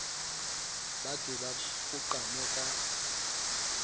ba ke ba koqame ka